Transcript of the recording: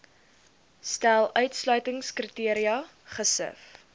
stel uitsluitingskriteria gesif